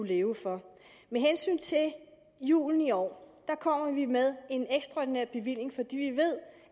leve for med hensyn til julen i år kommer vi med en ekstraordinær bevilling fordi vi ved